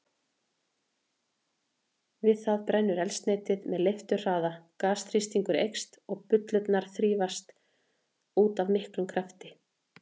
Við það brennur eldsneytið með leifturhraða, gasþrýstingur eykst og bullurnar þrýstast út af miklum krafti.